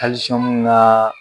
naa